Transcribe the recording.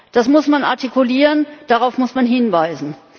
Das muss man artikulieren, darauf muss man hinweisen.